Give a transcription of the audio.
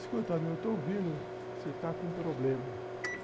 Escuta meu, eu estou ouvindo que você está com problema.